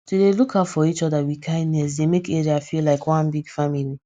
to dey look out for each other with kindness dey make area feel like one big family